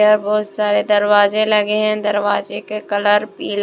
यहाँ बहुत सारे दरवाजे लगे हैं दरवाजे के कलर पीला--